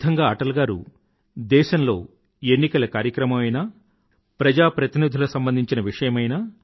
ఈ విధంగా అటల్ గారు దేశంలో ఎన్నికల కార్యక్రమం అయినా ప్రజా ప్రతినిధుల సంబంధించిన విషయమైనా